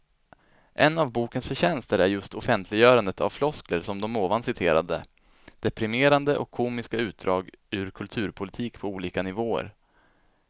En av bokens förtjänster är just offentliggörandet av floskler som de ovan citerade, deprimerande och komiska utdrag ur kulturpolitik på olika nivåer.